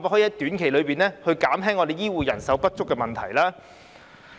政府能否在短期內減輕香港醫護人手不足的問題？